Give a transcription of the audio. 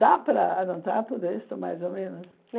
Dá para anotar tudo isso, mais ou menos?